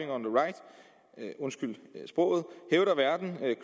undskyld sproget hævder værten